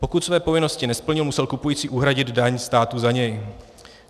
Pokud své povinnosti nesplnil, musel kupující uhradit daň státu za něj.